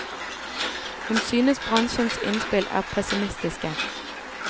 Hun synes bransjens innspill er pessimistiske.